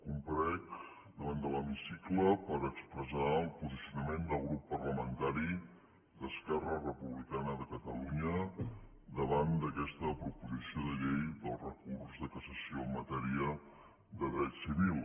comparec davant de l’hemicicle per expressar el posicionament del grup parlamentari d’esquerra republicana de catalunya davant d’aquesta proposició de llei del recurs de cassació en matèria de dret civil